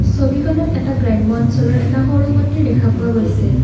ছবিখনত এটা গ্ৰাম্য অঞ্চলৰ এটা সৰু মন্দিৰ দেখা পোৱা গৈছে।